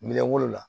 Minɛn wolo la